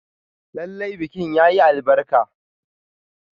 Lallai bikin yayi albarka.